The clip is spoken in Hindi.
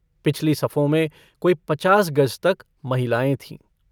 पिछली सफों मे कोई पचास गज तक महिलाएँ थीं।